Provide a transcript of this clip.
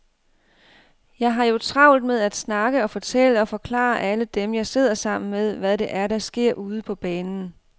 Jeg har jo travlt med at snakke og fortælle og forklare alle dem, jeg sidder sammen med, hvad det er, der sker ude på banen.